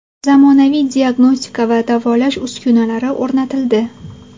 Zamonaviy diagnostika va davolash uskunalari o‘rnatildi.